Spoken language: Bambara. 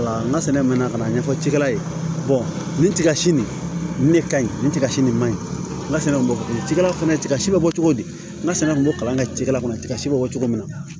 N ka sɛnɛ man kan' ɲɛfɔ cikɛla ye nin tiga si nin ne ka ɲi nin tiga si nin man ɲi n ka sɛnɛ bɛ kɛ cogo ci la fana tiga si bɛ bɔ cogo di n ka sɛnɛ kun bɛ kalan kɛ cikɛla kɔnɔ tiga si bɛ bɔ cogo min na